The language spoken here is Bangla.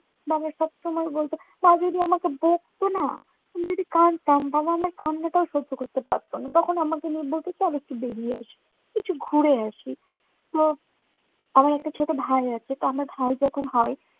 বাবা সবসময় বলতো মা যদি আমাকে বকতো না, আমি যদি কাঁদতাম বাবার আমার কান্নাটাও সহ্য করতে পারতো না। তখন আমাকে নিয়ে আমি একটু বেড়িয়ে আসি। একটু ঘুরে আসি। তো আমার একটা ছোট ভাই আছে। তো আমার ভাই যখন হয়